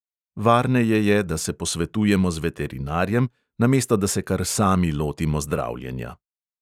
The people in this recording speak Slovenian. Varneje je, da se posvetujemo z veterinarjem, namesto da se kar sami lotimo zdravljenja.